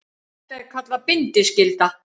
Þetta er kallað bindiskylda.